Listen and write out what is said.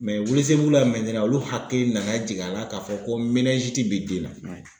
welesebugula olu hakili nana jigin a la k'a fɔ ko bɛ den na